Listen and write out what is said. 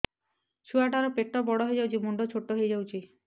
ଛୁଆ ଟା ର ପେଟ ବଡ ହେଇଯାଉଛି ମୁଣ୍ଡ ଛୋଟ ହେଇଯାଉଛି